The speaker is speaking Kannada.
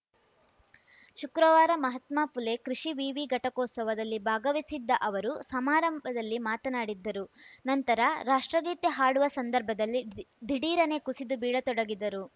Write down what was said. ಶುಕ್ರವಾರ ಮಹಾತ್ಮ ಫುಲೆ ಕೃಷಿ ವಿವಿ ಘಟಿಕೋತ್ಸವದಲ್ಲಿ ಭಾಗವಹಿಸಿದ್ದ ಅವರು ಸಮಾರಂಭದಲ್ಲಿ ಮಾತನಾಡಿದ್ದರು ನಂತರ ರಾಷ್ಟ್ರಗೀತೆ ಹಾಡುವ ಸಂದರ್ಭದಲ್ಲಿಧಿ ದಿಢೀರನೇ ಕುಸಿದು ಬೀಳತೊಡಗಿದರು